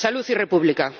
¡Salud y República!